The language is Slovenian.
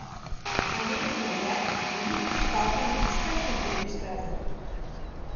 Pomembno je, da jutri štartam na čistejšem delu steze.